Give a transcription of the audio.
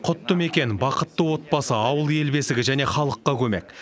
құтты мекен бақытты отбасы ауыл ел бесігі және халыққа көмек